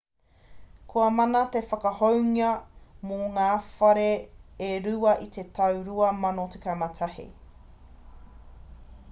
kua mana te whakahounga mō ngā whare e rua i te tau 2011